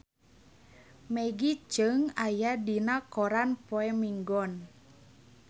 Maggie Cheung aya dina koran poe Minggon